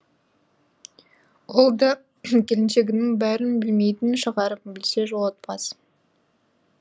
ол да келіншегінің барын білмейтін шығар білсе жолатпас